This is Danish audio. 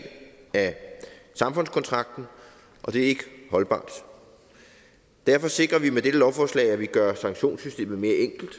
af samfundskontrakten og det er ikke holdbart derfor sikrer vi med dette lovforslag at vi gør sanktionssystemet mere enkelt